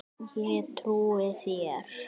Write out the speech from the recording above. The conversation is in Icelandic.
Ég trúi þér